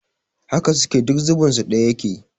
Haka suke, duk zubin su ɗaya yake